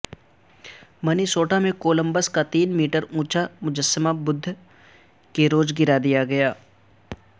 منی سوٹا میں کولمبس کا تین میٹر اونچا مجسمہ بدھ کے روز گرا دیا گیا